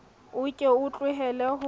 o ke o tlohele ho